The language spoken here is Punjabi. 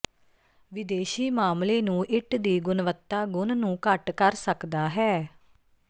ਵਿਦੇਸ਼ੀ ਮਾਮਲੇ ਨੂੰ ਇੱਟ ਦੀ ਗੁਣਵੱਤਾ ਗੁਣ ਨੂੰ ਘੱਟ ਕਰ ਸਕਦਾ ਹੈ